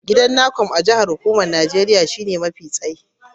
Gidan Necom a jihar Legas shine gini mafi tsayi a Najeriya.